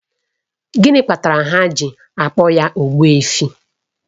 Gịnị kpatara ha ji akpọ ya Ogbuefi?